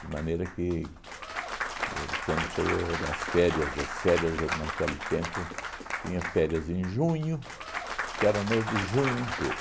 De maneira que, o quando chegou as férias, as férias naquele tempo tinha férias em junho, que era o mês de junho inteiro.